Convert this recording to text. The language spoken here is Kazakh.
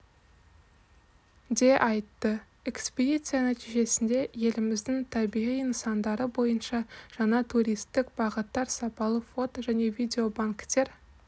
де айтты экспедиция нәтижесінде еліміздің табиғи нысандары бойынша жаңа туристік бағыттар сапалы фото және видеобанктер